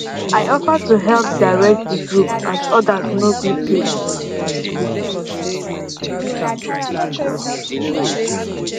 i offer to help direct di group as others no gree take responsibity